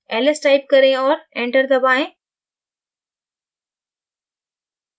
ls type करें और enterदबाएँ